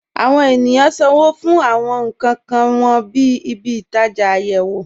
Àwọn ènìyàn ṣánwó̩ fún àwọn nkàn wọn ní ìbí-itaja ayéwò.